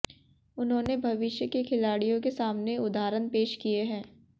उन्होंने भविष्य के खिलाड़ियों के सामने उदाहरण पेश किए हैं